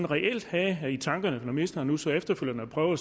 reelt havde i tankerne når ministeren nu så efterfølgende prøver